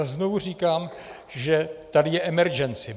A znovu říkám, že tady je emergency.